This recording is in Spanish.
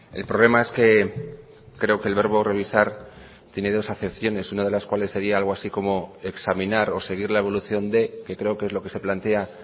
el problema es que creo que el verbo revisar tiene dos acepciones una de las cuales sería algo así como examinar o seguir la evolución de que creo que es lo que se plantea